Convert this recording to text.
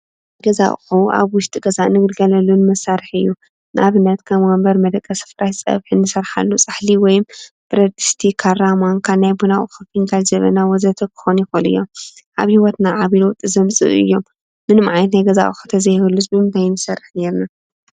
ገዛ ኣቑሑ ኣብ ውሽጢ ገዛ እንግልገለሉን መሳርሒ እዩ። ንኣብነት ወንበር፣ መደቂ ሲ እንጥቀመሉ ከም ፀብሒ ፃሕሊ እንሰርሓሉ ወይም ብረድስቲ፣ ካራ ፣ማንካ ናይ ቡና ኣቁሑ ፍንጃል፣ ማንካ፣ ጀበና ወዘተ ክኾኑ ይክእሉ እዮም። ኣብ ሂወትና ዓብይ ለውጢ ዘምፅኡ እዮም። ምንም ዓይነት ናይ ገዛ ኣቑሑ እንተዘይህሉዉስ ብምታይ ክንሰርሕ ነይርና?